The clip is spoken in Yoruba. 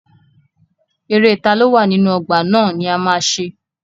Eré taló wà nínú ọgbà ná ni a ma ṣe.